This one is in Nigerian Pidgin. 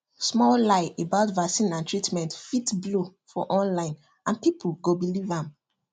small lie about vaccine and treatment fit blow for online and people go believe am